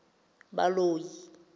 baloi